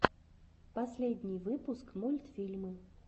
последний выпуск мультфильмы